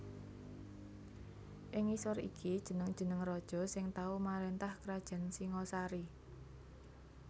Ing ngisor iki jeneng jeneng raja sing tau marentah krajan Singhasari